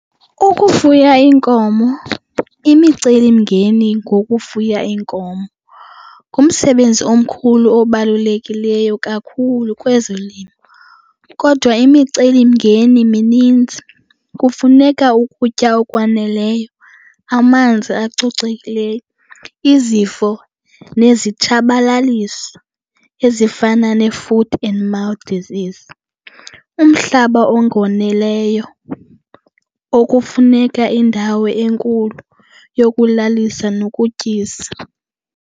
Ukufuya iinkomo, imicelimngeni ngokufuya iinkomo ngumsebenzi omkhulu obalulekileyo kakhulu kwezolimo kodwa imicelimngeni mininzi. Kufuneka ukutya okwaneleyo, amanzi acocekileyo. Izifo nezitshabalalisi ezifana ne-foot and mouth disease, umhlaba ongonileyo okufuneka indawo enkulu yokulalisa nokutyisa.